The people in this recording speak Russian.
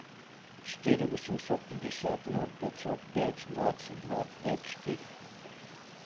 четыре восемьсот пятьдесят ноль пятьсот пять двадцать два пять четыре